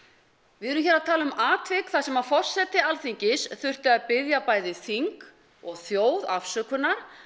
við erum hér að tala um atvik þar sem að forseti Alþingis þurfti að biðja bæði þing og þjóð afsökunar